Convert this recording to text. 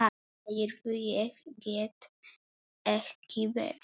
Heyrðu, ég get ekki beðið.